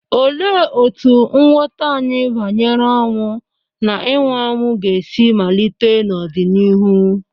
Olee otú nghọta anyị banyere ọnwụ na ịnwụ anwụ ga-esi malite n'ọdịnihu?